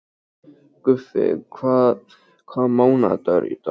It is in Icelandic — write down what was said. Guffi, hvaða mánaðardagur er í dag?